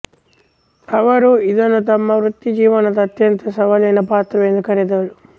ಅವರು ಇದನ್ನು ತಮ್ಮ ವೃತ್ತಿಜೀವನದ ಅತ್ಯಂತ ಸವಾಲಿನ ಪಾತ್ರವೆಂದು ಕರೆದರು